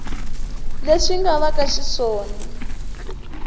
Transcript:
leswi nga va ka xiswona